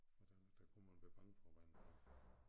Og der der kunne man være bange for vandet